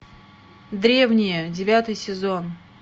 древние девятый сезон